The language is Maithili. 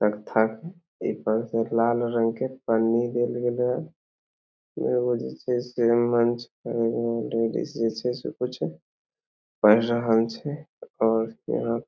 तकथा के एगो लाल रंग के पन्नी देल गइल ह कुछ छे पढ़ रहल छे --